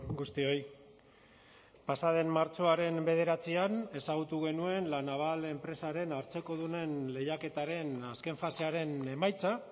guztioi pasa den martxoaren bederatzian ezagutu genuen la naval enpresaren hartzekodunen lehiaketaren azken fasearen emaitza